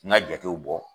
N ka jatew bɔ